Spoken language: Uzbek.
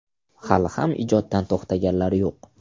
Hali ham ijoddan to‘xtaganlari yo‘q.